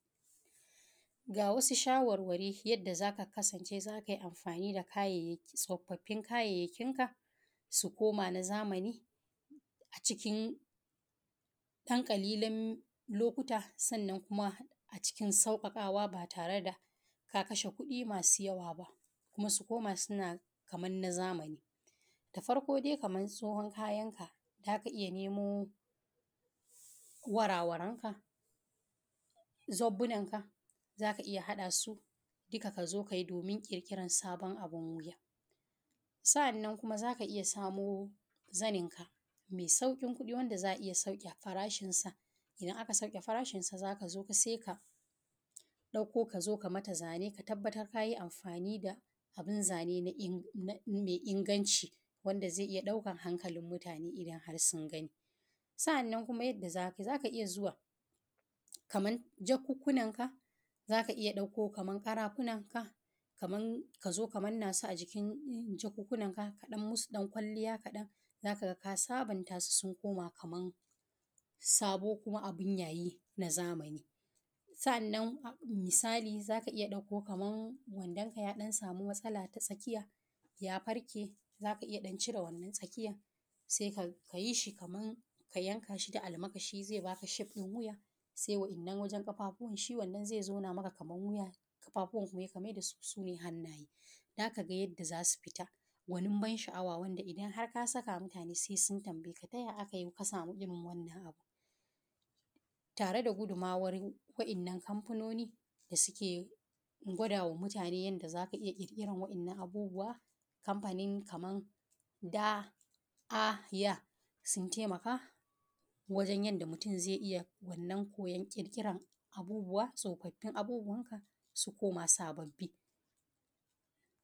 Ga wasu shawarwari yadda zaka kasanche, za ka iya amfani da kayayyaki tsofaffi domin su koma na zamani a cikin ɗan ƙanƙanin lokaci, sannan a cikin sauƙaƙawa ba tare da ka kashe kuɗi masu yawa ba, kuma su koma kamar na zamani. Da farko, kamar tsohon kayanka, za ka iya nemo wuraren da suka tsufa ko suka lalace, sannan ka haɗa su gaba ɗaya domin ƙirƙirar sabuwar fasali. Hakanan, za ka iya samo zani da sarƙoƙi masu kyawa da za a iya sauya fasalinsu. Idan aka sauya fasalinsu, sai ka ɗauko su ka mata ƙwalliya. Ka tabbata da cewa ka yi amfani da kayan zani masu ingantawa da za su jawo hankalin mutane idan sun gani. Sannan, idan kana da jaka ko wani kaya kamar ƙarafu da suka tsufa, za ka iya ɗauko su ka manna su a jikin sabbin kayayyaki da ƙaramin ƙwalliya. Hakan zai sa kayan su zama kamar sabbi kuma su zama masu kyawa irin na zamani. Misali, idan kana da murfi ko makera da ta samu matsala a tsakiyarta, za ka iya cire wannan bangaren tare da amfani da almara ko wuka domin tsabtace shi. Idan kuma akwai ƙafafu ko hannaye na wani abu da suka tsufa, za ka iya maida su cikin sabuwar tsari domin su koma masu amfani. Idan ka aiwatar da waɗannan matakai, za ka gana yadda tsofaffin abubuwa za su koma sabbi cikin ƙanƙanin lokaci, kuma mutane za su ji sha’awar su tambaye ka yadda aka yi hakan. Wannan hanja tana taimakawa wajen rage sharar kayayyaki kuma tana ba da damar ƙirikira da sabunta kayan gida.